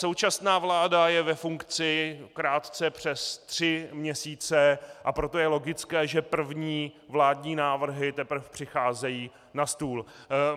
Současná vláda je ve funkci krátce přes tři měsíce, a proto je logické, že první vládní návrhy teprve přicházejí na stůl.